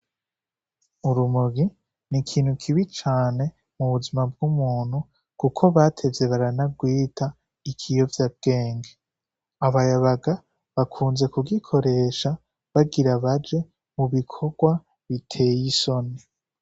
Urumogi n'ikintu kibi cane mu buzima bw'umuntu kuko batevye baranagwita ikiyovyambwenge, abayabaga bakunze kugiroshe bagira baje mu bikorwa biteye isoni.